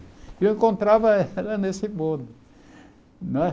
E eu encontrava ela nesse bonde. Não é